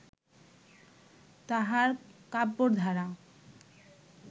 তাঁহার কাব্যের ধারা